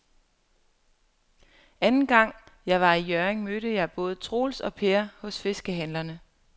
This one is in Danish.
Anden gang jeg var i Hjørring, mødte jeg både Troels og Per hos fiskehandlerne.